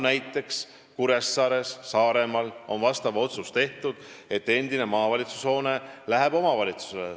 Näiteks Saaremaal Kuressaares on tehtud otsus, et endine maavalitsushoone läheb omavalitsusele.